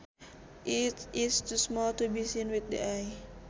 It is too small to be seen with the eye